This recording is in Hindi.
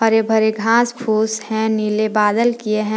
हरे भरे घास फूस हैं नीले बादल किए हैं।